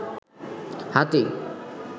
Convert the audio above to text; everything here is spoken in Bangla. হাতী